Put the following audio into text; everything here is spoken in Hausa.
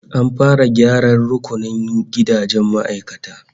An fara gyaran rukunin gidajen ma'aikatan